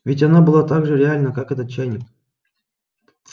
ведь она была так же реальна как этот чайник